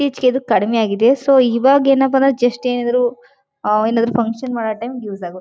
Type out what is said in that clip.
ಈಚೆಗೆ ಇದು ಕಡಿಮೆಯಾಗಿದೆ ಸೊ ಇವಾಗ ಏನಪ್ಪಾ ಅಂದ್ರೆ ಜಸ್ಟ್ ಏನಿದ್ರೂ ಆ ಏನಾದ್ರು ಫಂಕ್ಷನ್ ಮಾಡೋ ಟೈಮ್ ಯೂಸ್ ಆಗುತ್ತೆ.